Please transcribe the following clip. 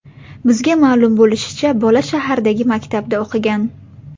Bizga ma’lum bo‘lishicha, bola shahardagi maktabda o‘qigan.